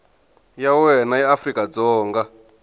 ya wena ya afrika dzonga